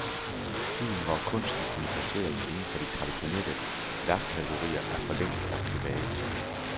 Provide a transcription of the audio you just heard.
Tiden, hvor kunsten kunne placeres inden for de traditionelle værkkategorier, er forlængst lagt tilbage.